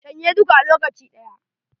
Shan ye dukka a lokaci ɗaya